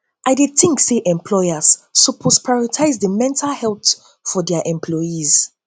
i dey think say employers suppose prioritize di mental health supoort for di employees